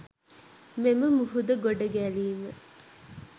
මෙම මුහුද ගොඩ ගැලීම